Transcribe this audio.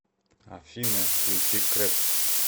афина включи крэп